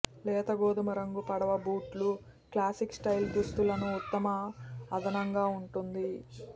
లేత గోధుమరంగు పడవ బూట్లు క్లాసిక్ స్టైల్ దుస్తులను ఉత్తమ అదనంగా ఉంటుంది